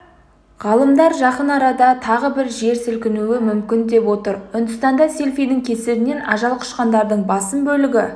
ғалымдар жақын арада тағы жер сілкінуі мүмкін деп отыр үндістанда селфидің кесірінен ажал құшқандардың басым бөлігі